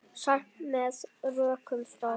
Sagt með rökum frá.